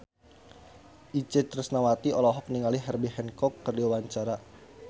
Itje Tresnawati olohok ningali Herbie Hancock keur diwawancara